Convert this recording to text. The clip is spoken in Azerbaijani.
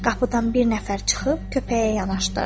Qapıdan bir nəfər çıxıb köpəyə yanaşdı.